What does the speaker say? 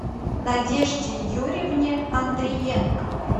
надежде юрьевне андриенко